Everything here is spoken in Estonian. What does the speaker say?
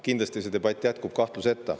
Kindlasti see debatt jätkub.